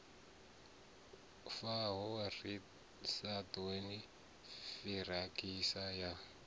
faho ḓi sagani giratshini ya